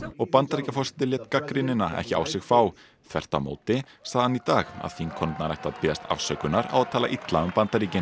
og Bandaríkjaforseti lét gagnrýnina ekki á sig fá þvert á móti sagði hann í dag að þingkonurnar ættu að biðjast afsökunar á að tala illa um Bandaríkin